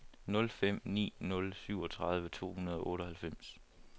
nul fem ni nul syvogtredive to hundrede og otteoghalvfems